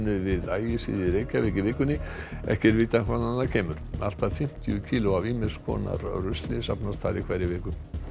við Ægisíðu í Reykjavík í vikunni ekki er vitað hvaðan það kemur allt að fimmtíu kíló af ýmis konar rusli safnast þar í hverri viku